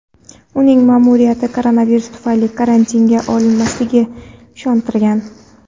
uning ma’muriyati koronavirus tufayli karantinga olinmasligiga ishontirgan.